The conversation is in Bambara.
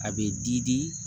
A bɛ digi